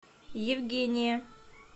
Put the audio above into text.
евгения